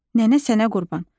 Nənə sənə qurban.